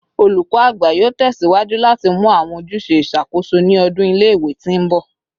Olukọ Agba yoo tẹsiwaju lati mu awọn ojuse iṣakoso ni ọdun ile-iwe ti nbọ